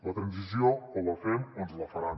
la transició o la fem o ens la faran